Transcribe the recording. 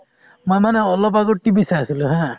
মই মানে অলপ আগত TV চাই আছিলো haa